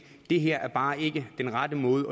det her er bare ikke den rette måde